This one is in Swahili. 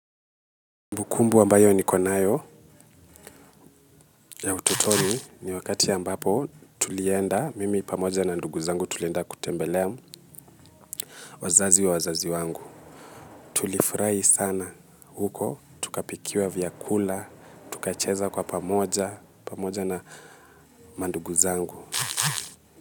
Ukumbu wambayo ni konayo ya ututoni ni wakati ya mbapo tulienda, mimi pamoja na nduguzangu tulienda kutembelea wazazi wa wazazi wangu. Tulifurai sana huko, tukapikiwa vya kula, tukacheza kwa pamoja, pamoja na manduguzangu.